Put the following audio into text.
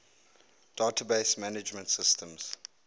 database management systems